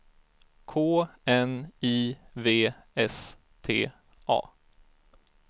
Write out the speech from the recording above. K N I V S T A